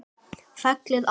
Fellið af.